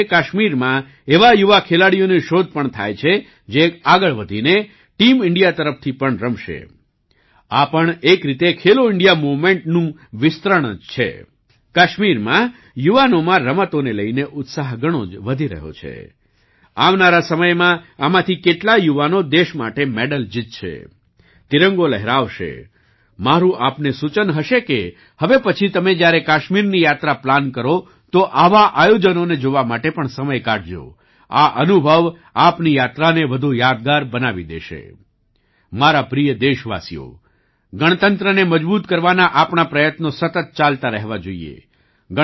મારા પ્રિય દેશવાસીઓ ગણતંત્રને મજબૂત કરવાના આપણા પ્રયત્નો સતત ચાલતા રહેવા જોઈએ